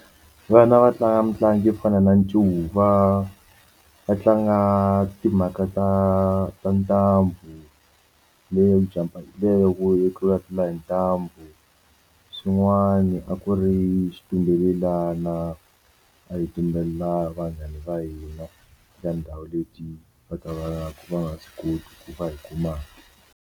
Vana va tlanga mitlangu yo fana na ncuva va tlanga timhaka ta ta ntambu leyo leyo ku tlulatlula hi ntambu swin'wani a ku ri xitumbelelana a hi tumbelela vanghana va hina ya ndhawu leti va ka va nga swi koti ku va hi kuma.